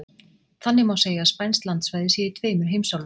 Þannig má segja að spænskt landsvæði sé í tveimur heimsálfum.